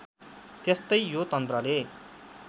त्यस्तै यो तन्त्रले